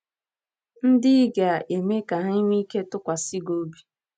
ndị ị ga - eme ka ha nwee ike ịtụkwasị gị obi?